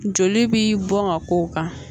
Joli bi bɔn ka k'o kan